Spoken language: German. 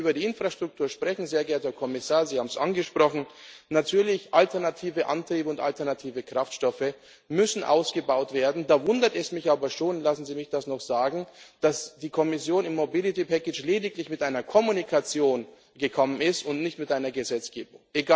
Und wenn wir über die Infrastruktur sprechen sehr geehrter Kommissar, Sie haben es angesprochen Natürlich, alternative Antriebe und alternative Kraftstoffe müssen ausgebaut werden. Da wundert es mich aber schon lassen Sie mich das noch sagen dass die Kommission im Mobilitätspaket lediglich mit einer Mitteilung gekommen ist und nicht mit Gesetzgebung.